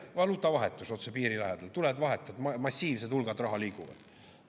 Valuutavahetus otse piiri lähedal: tuled, vahetad, massiivsed hulgad raha liiguvad.